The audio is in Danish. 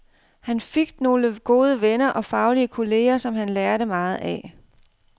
Han fik nogle gode venner og faglige kolleger, som han lærte meget af.